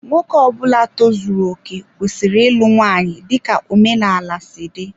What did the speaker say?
Nwoke Ọbula tozuru okè kwesịrị ịlụ nwanyị dika omenala si dị.